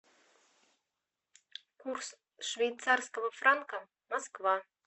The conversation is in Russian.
курс швейцарского франка москва